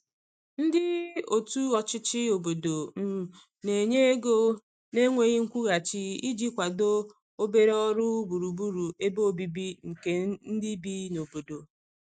ndi otu ochichi obodo um n'enye ego na nweghi nkwuhachi iji kwado obere ọrụ gburugburu ebe ọbìbi nke ndi bi n'obodo